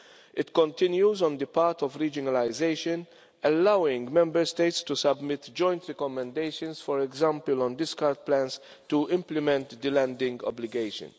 It continues on the path of regionalisation, allowing Member States to submit joint recommendations, for example on discard plans, to implement the landing obligations.